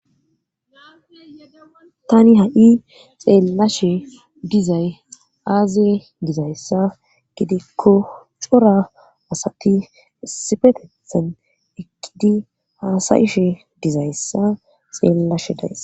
Tani ha7i xeellashe dizay aazee dizayssa gidikko cora asati sifetethen ekkidi haasayishe dizayssa xeellashe dayss.